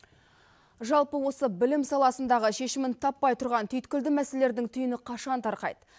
жалпы осы білім саласындағы шешімін таппай тұрған түйіткілді мәселелердің түйінін қашан тарқайды